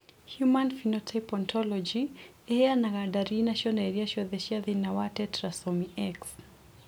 Human Phenotype Ontology ĩheanaga ndariri na cionereria ciothe cia thĩna wa Tetrasomy X.